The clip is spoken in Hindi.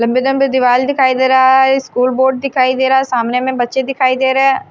लंबे लंबे दीवाल दिखाई दे रहा है स्कूल बोर्ड दिखाई दे रहा है सामने में बच्चे दिखाई दे रहे है।